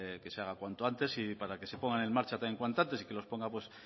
que se haga cuanto antes y para que se pongan en marcha también cuanto antes y que los pongan pues